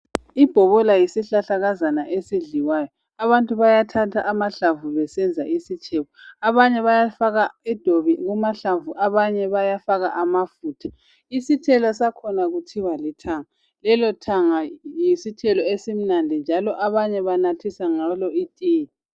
Ibhobola yisihlahlakazana esidliwayo, abantu bayathatha amahlamvu besenza isitshebo, abanye bayafaka idobi kumahlanvu abanye bafaka amafutha, isithelo sakhona kuthiwa lithanga, lelothanga yisithelo esimnandi njalo abanye banathisa ngalo itiye.